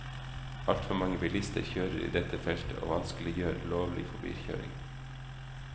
Altfor mange bilister kjører i dette feltet og vanskeliggjør lovlig forbikjøring.